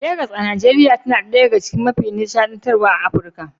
Legas a Najeriya tana ɗaya daga mafi nishadantarwa a Afirka.